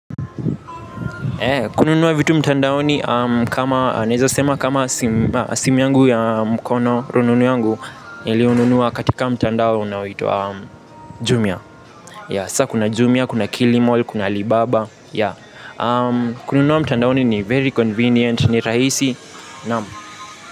Kununua vitu mtandaoni kama naweza sema kama simu yangu ya mkono rununu yangu niliununua katika mtandao unaoitwa jumia yeah sasa kuna jumia, kuna kilimall, kuna alibaba yeah. Kununua mtandaoni ni very convenient, ni rahisi naam.